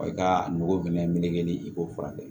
I ka a nɔgɔ bɛnɛ ni i k'o furakɛ